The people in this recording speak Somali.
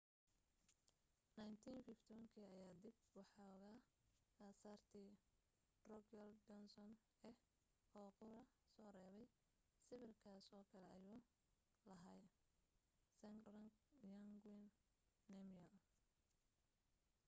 1951 kii ayaa dab waxooga asaartii drukgyal dzong ah oo qura soo reebay sawirkaas oo kale ayuu lahaa zhabdrung ngawang namgyel